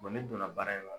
ne donna baara in na